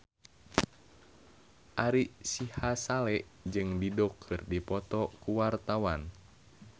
Ari Sihasale jeung Dido keur dipoto ku wartawan